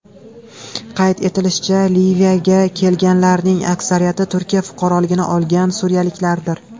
Qayd etilishicha, Liviyaga kelganlarning aksariyati Turkiya fuqaroligini olgan suriyaliklardir.